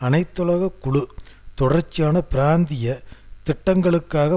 அனைத்துலக குழு தொடர்ச்சியான பிராந்திய திட்டங்களுக்காக